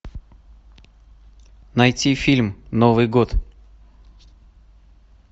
найти фильм новый год